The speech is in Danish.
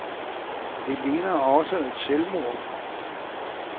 Det ligner også et selvmål.